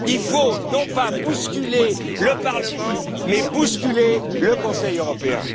bout. Il faut non pas bousculer le Parlement mais bousculer le Conseil européen.